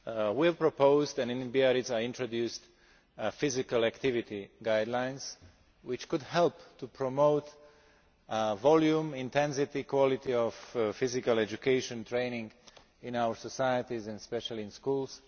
We have proposed and in Biarritz I introduced physical activity guidelines, which could help to promote the volume, intensity and quality of physical education training in our societies and especially in schools.